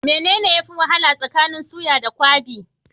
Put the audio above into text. Mene ne yafi wahala tsakanin suya da kwabi?